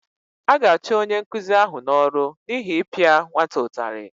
A ga-achụ onye nkụzi ahụ n’ọrụ n’ihi ịpịa nwata ụtarị